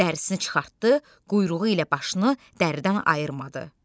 Dərisini çıxartdı, quyruğu ilə başını dəridən ayırmadı.